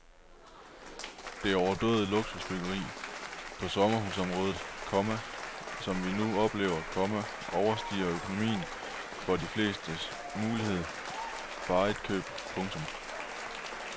Det overdådige luksusbyggeri på sommerhusområdet, komma som vi nu oplever, komma overstiger økonomien for de flestes mulighed for eget køb. punktum